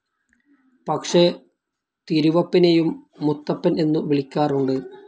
പക്ഷെ തിരുവപ്പനെയും മുത്തപ്പൻ എന്നു വിളിക്കാറുണ്ട്.